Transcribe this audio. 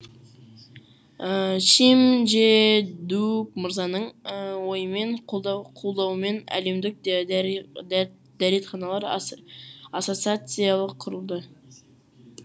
шим джэ дук мырзаның ойымен қолдау қолдауымен әлемдік дәрет дәрет дәретханалар ассоциациялық құрылды